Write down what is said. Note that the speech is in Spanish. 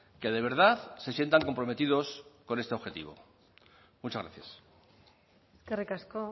que de verdad se sientan comprometidos con este objetivo muchas gracias eskerrik asko